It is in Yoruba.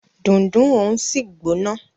Dundun òun sì gbóná.